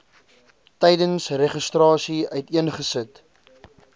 tydens registrasie uiteengesit